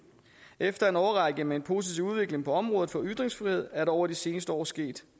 efter en årrække med en positiv udvikling på området for ytringsfrihed er der over de seneste år sket